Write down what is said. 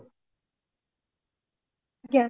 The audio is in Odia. ଆଜ୍ଞା